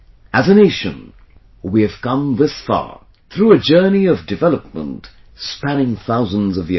As a nation, we have come this far through a journey of development spanning thousands of years